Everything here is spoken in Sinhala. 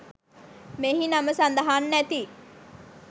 මෙහි නම සදහන් නැති